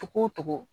Togo o togo